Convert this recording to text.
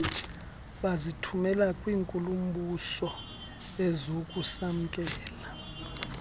bazithumela kwinkulu mbusoezakusamkela